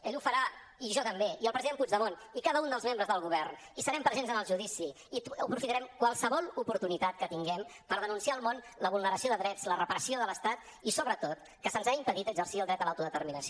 ell ho farà i jo també i el president puigdemont i cada un dels membres del govern i serem presents en el judici i aprofitarem qualsevol oportunitat que tinguem per denunciar al món la vulneració de drets la repressió de l’estat i sobretot que se’ns ha impedit exercir el dret a l’autodeterminació